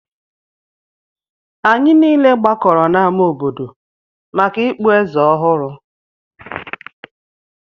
Anyị niile gbakọrọ n'ámá obodo maka ikpu eze ọhụrụ